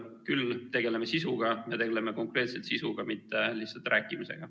Küll tegeleme sisuga, me tegeleme konkreetselt sisuga, mitte lihtsalt rääkimisega.